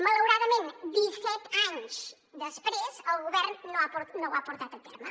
malauradament disset anys després el govern no ho ha portat a terme